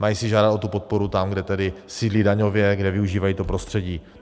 Mají si žádat o tu podporu tam, kde tedy sídlí daňově, kde využívají to prostředí.